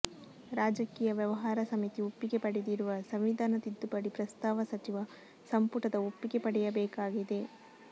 ರಾಜಕೀಯ ವ್ಯವಹಾರ ಸಮಿತಿ ಒಪ್ಪಿಗೆ ಪಡೆದಿರುವ ಸಂವಿಧಾನ ತಿದ್ದುಪಡಿ ಪ್ರಸ್ತಾವ ಸಚಿವ ಸಂಪುಟದ ಒಪ್ಪಿಗೆ ಪಡೆಯಬೇಕಾಗಿದೆ